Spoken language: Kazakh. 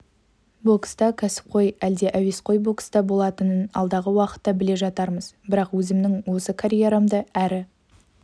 бокста кәсіпқой әлде әуесқой бокста болатынын алдағы уақытта біле жатармыз бірақ өзімнің осы карьерамды әрі